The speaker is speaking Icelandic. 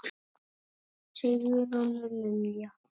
Varstu að koma frá Japan?